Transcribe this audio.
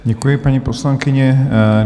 Děkuji, paní poslankyně.